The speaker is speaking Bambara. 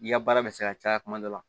I ka baara bɛ se ka caya kuma dɔ la